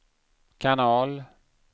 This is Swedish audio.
kanal